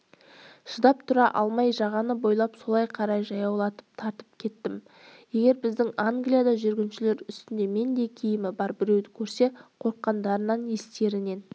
шыдап тұра алмай жағаны бойлап солай қарай жаяулап тартып кеттім егер біздің англияда жүргіншілер үстінде мендей киімі бар біреуді көрсе қорыққандарынан естерінен